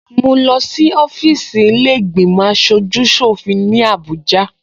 Mo lọ sí ọfíìsì ilé ìgbìmò aṣojú ṣòfin ní Abuja